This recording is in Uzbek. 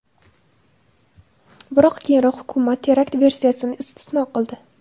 Biroq keyinroq hukumat terakt versiyasini istisno qildi.